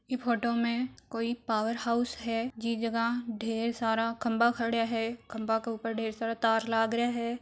इ फोटो में कोई पावर हाउस है जिस जगह ढेर सारा खम्भा खड़ा है खंभा के उपर ढेर सारा तार लाग रहा है।